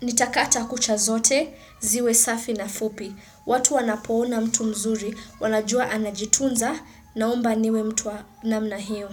Nitakata kucha zote, ziwe safi na fupi. Watu wanapoona mtu mzuri, wanajua anajitunza naomba niwe mtu wa namna hiyo.